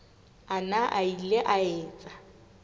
ana a ile a etsa